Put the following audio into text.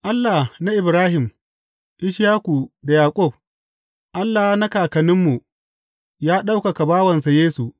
Allah na Ibrahim, Ishaku, da Yaƙub, Allah na kakanninmu, ya ɗaukaka bawansa Yesu.